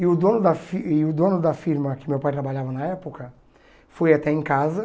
E o dono da fi e o dono da firma que meu pai trabalhava na época foi até em casa.